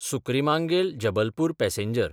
सुक्रिमांगेल–जबलपूर passenger